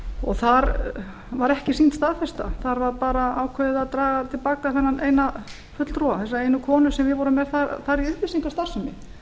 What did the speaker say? og þar var ekki sýnd staðfesta þar var bara ákveðið að draga til baka þennan eina fulltrúa þessa einu komu sem við vorum þar með í upplýsingastarfsemi